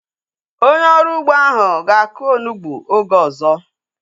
Onye ọrụ ugbo ahu ga-aku onugbu oge ọzọ